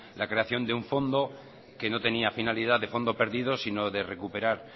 la creación de un fondo que no tenía finalidad de fondo perdido sino de recuperar